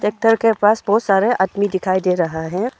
Tractor के पास बहुत सारे आदमी दिखाई दे रहा है।